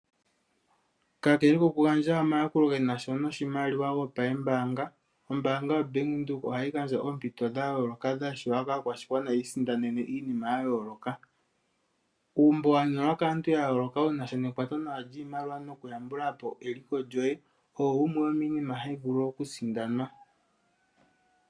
Kakele okugandja omayakulo genasha noshimaliwa gopa yembanga ombanga ya Bank windhoek ohayi gandja oompito dha yoloka dhashiwa kaakwashigwana yisindanene iinima yayoloka uumbo wanyolwa kaantu yayoloka wuna sha nekwato nawa ndji maliwa noku yambulapo eliko lyoye oyo wumwe wominima hayi vulu okusindanwa.